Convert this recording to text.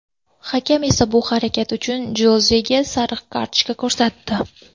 Hakam esa bu harakat uchun Jozega sariq kartochka ko‘rsatdi.